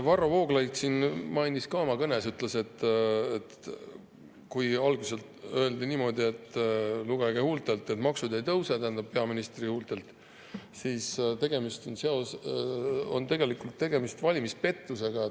Varro Vooglaid siin märkis ka oma kõnes, et kui algselt öeldi niimoodi, et lugege mu huultelt, et maksud ei tõuse – tähendab, peaministri huultelt –, siis tegemist on tegelikult valimispettusega.